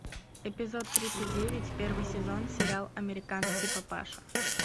эпизод тридцать девять первый сезон сериал американский папаша